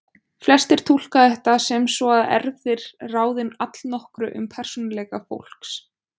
Flestir túlka þetta sem svo að erfðir ráði allnokkru um persónuleika fólks.